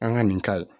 An ka nin ka